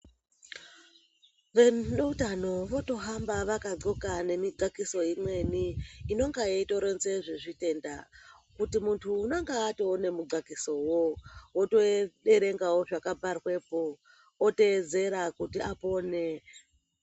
Veutano votohamba vakadhloka nemidhlakiso imweni inonga yetoironze yezvitenda kuti muntu unonga atoone mudhlakisowo woteerengawo zvakabharwepo oteedzera kuti apone.